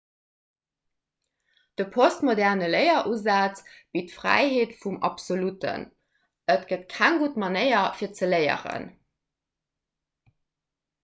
de postmoderne léierusaz bitt d'fräiheet vum absolutten et gëtt keng gutt manéier fir ze léieren